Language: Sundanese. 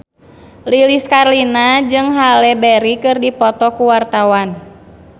Lilis Karlina jeung Halle Berry keur dipoto ku wartawan